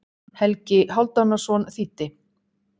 Helgi Hálfdanarson þýddi.